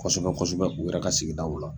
Kosɛbɛ kosɛbɛ u yɛrɛ ka sigidaw la.